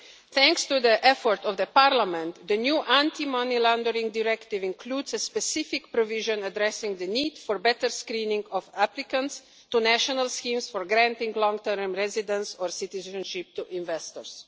Thanks to the efforts of Parliament, the new Anti Money Laundering Directive includes a specific provision addressing the need for better screening of applicants to national schemes for granting long term residence or citizenship to investors.